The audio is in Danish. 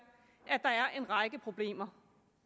at der er en række problemer